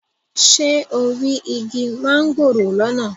Ṣé o rí igi mángòrò lọ́nà?